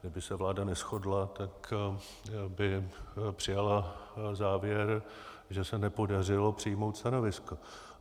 Kdyby se vláda neshodla, tak by přijala závěr, že se nepodařilo přijmout stanovisko.